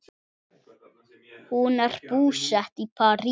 Hún er búsett í París.